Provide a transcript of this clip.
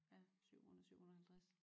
Ja 700 750